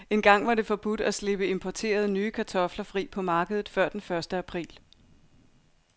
Engang var det forbudt at slippe importerede, nye kartofler fri på markedet før den første april.